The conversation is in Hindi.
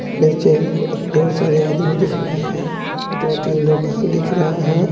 नीचे ढेर सारे आदमी दिख रहा है दो तीन दुकान दिख रहा है।